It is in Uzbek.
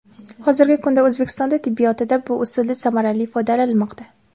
Hozirgi kunda O‘zbekistonda tibbiyotida bu usuldan samarali foydalanilmoqda.